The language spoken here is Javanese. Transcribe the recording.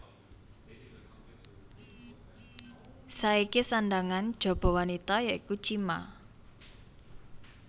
Saiki sandhangan jaba wanita ya iku chima